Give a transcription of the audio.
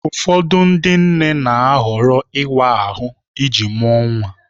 Ụfọdụ ndị nne na-ahọrọ ịwa ahụ iji mụọ nwa